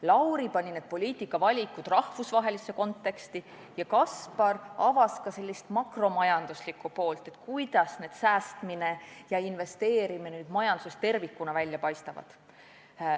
Lauri pani need poliitikavalikud rahvusvahelisse konteksti ja Kaspar avas ka teema makromajanduslikku poolt: kuidas säästmine ja investeerimine majanduses tervikuna välja paistab.